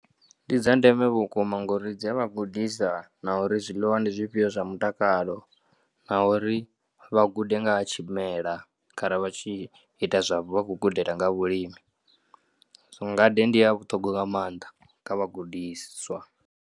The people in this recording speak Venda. Ndi dza ndeme vhukuma ngori dzi a vha gudisa na uri zwiḽiwa ndi zwifhio zwa mutakalo na uri vha gude nga ha tshimela kha ra vha tshi ita zwa vha khou gudela nga vhulimi. Ngade ndi ya vhuṱhogwa nga maanḓa kha vhagudiswa.